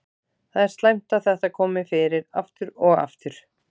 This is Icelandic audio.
Það er slæmt að þetta komi fyrir aftur og aftur.